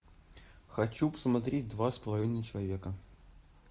хочу посмотреть два с половиной человека